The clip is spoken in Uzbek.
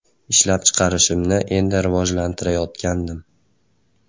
Ishlab chiqarishimni endi rivojlantirayotgandim.